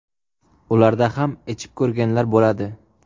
Ularda ham ichib ko‘rganlar bo‘ladi.